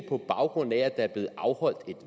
på baggrund af at der er blevet afholdt et